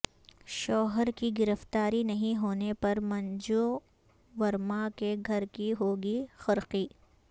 شوہرکی گرفتار ی نہیں ہونے پر منجو ورما کے گھر کی ہوگی قرقی